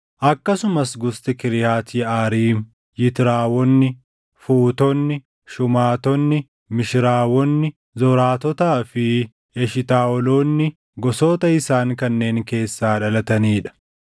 akkasumas gosti Kiriyaati Yeʼaariim, Yitraawonni, Fuutonni, Shumaatonni, Mishiraawonni, Zoraatotaa fi Eshitaaʼoloonni gosoota isaan kanneen keessaa dhalatanii dha.